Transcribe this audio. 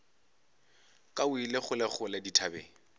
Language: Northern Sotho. ka o ile kgolekgole dithabeng